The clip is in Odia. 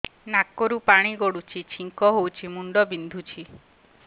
ନାକରୁ ପାଣି ଗଡୁଛି ଛିଙ୍କ ହଉଚି ମୁଣ୍ଡ ବିନ୍ଧୁଛି